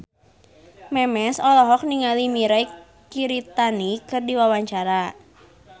Memes olohok ningali Mirei Kiritani keur diwawancara